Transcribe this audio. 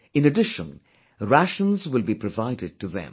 In addition, rations will be provided to them